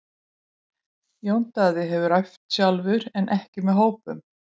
Jón Daði hefur æft sjálfur en ekki með hópnum.